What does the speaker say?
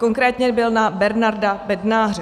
Konkrétně byl na Bernarda Bednáře.